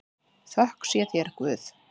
Þökk sé þér Guð.